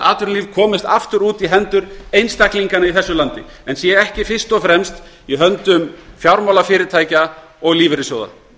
atvinnulíf komist aftur í hendur einstaklinganna í þessu landi en séu ekki fyrst og fremst í höndum fjármálafyrirtækja og lífeyrissjóða